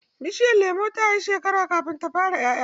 Bishiyar lemon ta yi shekara kafin ta fara 'ƴa'ƴa.